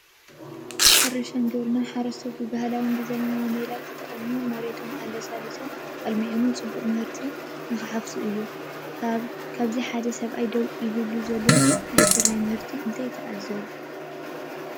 ሕርሻን ግብርናን፡- ሓረስቶት ብባህላውን ብዘበናውን ሜላ ተጠቒሞም መሬቶም ኣለሳሊሶምን ኣልሚዖምን ፅቡቕ ምህርቲ እንትሓፍሱ እዩ፡፡ ካብዚ ሓደ ሰብኣይ ደው ኢሉሉ ዘሎ ናይ ስርናይ ምህርቲ እንታይ ትዕዘቡ?